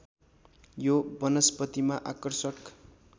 यो वनस्पतिमा आकर्षक